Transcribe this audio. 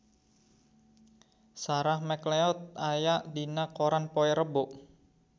Sarah McLeod aya dina koran poe Rebo